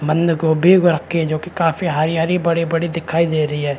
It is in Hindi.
बंध गोभी रखे जो की काफी हरी-हरी बड़ी-बड़ी दिखाई दे रही है ।